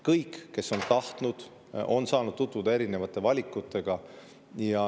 Kõik, kes on tahtnud, on saanud tutvuda erinevate valikutega.